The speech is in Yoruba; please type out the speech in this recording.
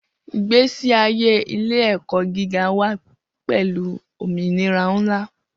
Igbesi aye ile-ẹkọ giga wa pẹlu ominira nla